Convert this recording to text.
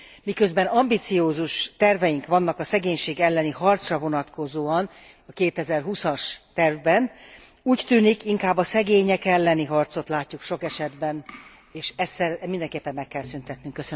Miközben ambiciózus terveink vannak a szegénység elleni harcra vonatkozóan a 2020 as tervben, úgy tűnik inkább a szegények elleni harcot látjuk sok esetben, és ezt mindenképpen meg kell szüntetnünk.